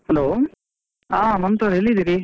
Hello, ಆ ಮಮತಾವ್ರೆ ಎಲ್ಲಿದ್ದೀರಿ?